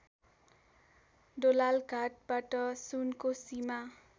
दोलालघाटबाट सुनकोसीमा